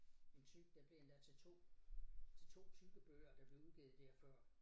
En type der bliver lavet til 2 til 2 typebøger der blev udgivet der før